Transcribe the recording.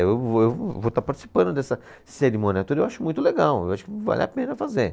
Eu vou, eu vou estar participando dessa cerimônia toda e eu acho muito legal, eu acho que vale a pena fazer.